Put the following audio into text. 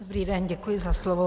Dobrý den, děkuji za slovo.